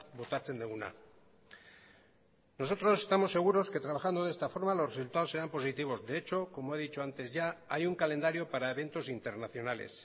botatzen duguna nosotros estamos seguros que trabajando de esta forma los resultados serán positivos de hecho como he dicho antes ya hay un calendario para eventos internacionales